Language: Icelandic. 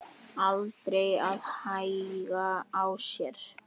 Aldrei að hægja á sér.